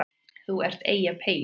ÞÚ ERT EYJAPEYINN